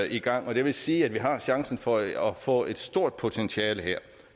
i gang og det vil sige at vi har chancen for at få et stort potentiale her